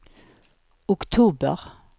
oktober